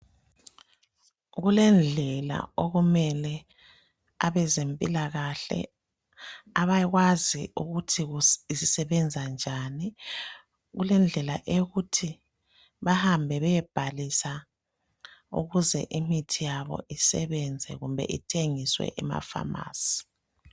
Kulendlela okumele abezempilakahle abakwazi ukuthi isisebenza njani, kulendlela yokuthi bahambe beyebhalisa ukuze imithi yabo isebenze kumbe ithengiswe amafamasi.